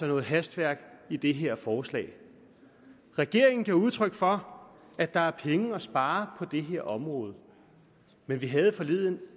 noget hastværk i det her forslag regeringen gav udtryk for at der er penge at spare på det her område men vi havde forleden